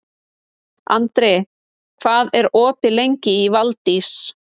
Andri, hvað er opið lengi í Valdís?